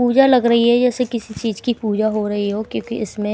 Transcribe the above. पूजा लग रही है जैसे किसी चीज की पूजा हो रही हो क्योंकि इसमें--